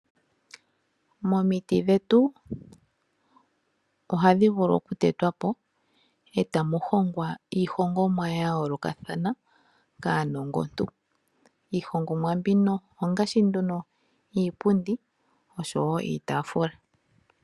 Momiti dhetu ohadhi vulu oku tetwapo eta muhongwa iihongomwa ya yoolokathana kaanongontu. Iihongomwa mbino ongaashi nduno iipundi, osho woo iitaafula.